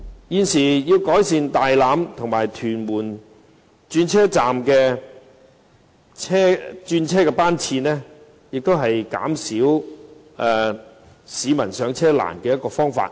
現時增加大欖和屯門轉車站的轉車班次，也是減輕市民上車困難的一個方法。